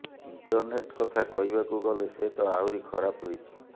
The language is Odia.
ଇଣ୍ଟରନେଟ କଥା କହିବାକୁ ଗଲେ ସେ ତ ଆହୁରି ଖରାପ ରହିଛି